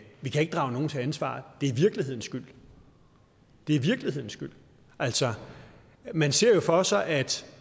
vi kan ikke drage nogen til ansvar det er virkelighedens skyld det er virkelighedens skyld altså man ser jo for sig at